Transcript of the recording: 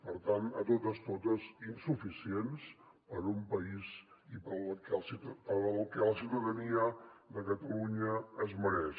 per tant de totes totes insuficient per al país i per al que la ciutadania de catalunya es mereix